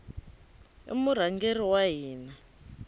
i murhangeri wa hina